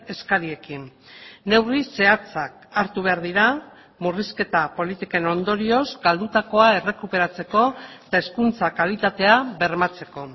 eskariekin neurri zehatzak hartu behar dira murrizketa politiken ondorioz galdutakoa errekuperatzeko eta hezkuntza kalitatea bermatzeko